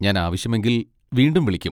ഞാൻ ആവശ്യമെങ്കിൽ വീണ്ടും വിളിക്കും.